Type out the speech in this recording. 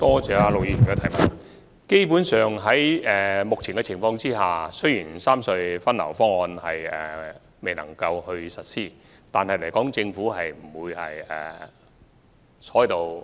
在目前的情況下，雖然三隧分流方案無法實施，但政府不會坐視不理。